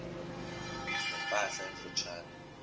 ne mpahla emfutshane